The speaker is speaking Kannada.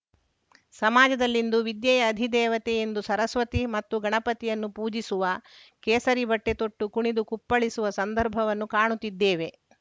ಸಮಾಜದಲ್ಲಿಂದು ವಿದ್ಯೆಯ ಅಧಿದೇವತೆ ಎಂದು ಸರಸ್ವತಿ ಮತ್ತು ಗಣಪತಿಯನ್ನು ಪೂಜಿಸುವ ಕೇಸರಿಬಟ್ಟೆತೊಟ್ಟು ಕುಣಿದು ಕುಪ್ಪಳ್ಳಿಸುವ ಸಂದರ್ಭವನ್ನು ಕಾಣುತ್ತಿದ್ದೇವೆ